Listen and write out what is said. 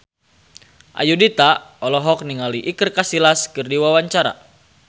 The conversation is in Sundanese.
Ayudhita olohok ningali Iker Casillas keur diwawancara